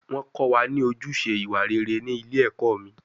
Wọ́n kọ́ wa ní ojúṣe ìwà rere ní ilé ẹ̀kọ́ mi